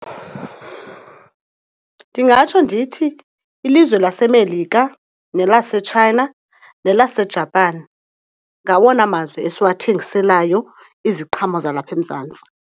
Ndingatsho ndithi ilizwe laseMelika nelaseChina nelaseJapan ngawona mazwe esiwathengiselayo iziqhamo zalapha eMzantsi.